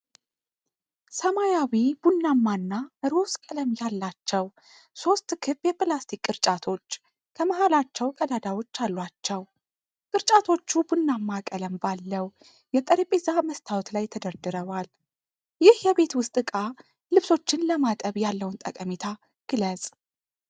ሰማያዊ፣ ቡናማ እና ሮዝ ቀለም ያላቸው ሦስት ክብ የፕላስቲክ ቅርጫቶች ከመሃላቸው ቀዳዳዎች አሏቸው። ቅርጫቶቹ ቡናማ ቀለም ባለው የጠረጴዛ መስታወት ላይ ተደርድረዋል። ይህ የቤት ውስጥ እቃ ልብሶችን ለማጠብ ያለውን ጠቀሜታ ግለጽ?